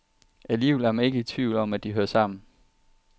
Alligevel er man ikke i tvivl om, at de hører sammen.